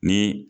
Ni